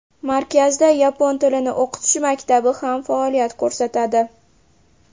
Markazda yapon tilini o‘qitish maktabi ham faoliyat ko‘rsatadi.